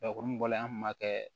mun bɔra an kun b'a kɛ